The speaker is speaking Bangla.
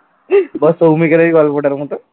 না ওটা বলছি